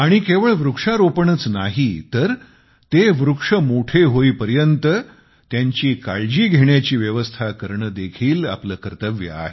केवळ वृक्षारोपणच नाही तर ते वृक्ष मोठे होईपर्यंत त्यांची काळजी घेण्याची व्यवस्था करणे देखील आपले कर्तव्य आहे